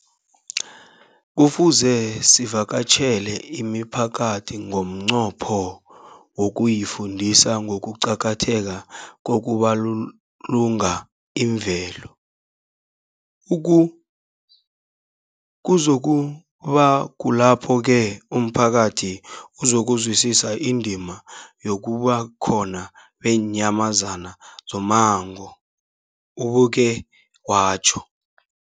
Kufuze sivakatjhele imiphakathi ngomnqopho wokuyifundisa ngokuqakatheka kokubulunga imvelo. Kuzoku ba kulapho-ke umphakathi uzokuzwisisa indima yobukhona beenyamazana zommango, ubeke watjho.